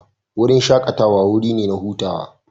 Wurin shakatawa wuri ne na hutawa.